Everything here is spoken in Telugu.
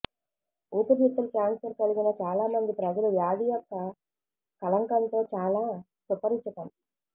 ఊపిరితిత్తుల క్యాన్సర్ కలిగిన చాలా మంది ప్రజలు వ్యాధి యొక్క కళంకంతో చాలా సుపరిచితం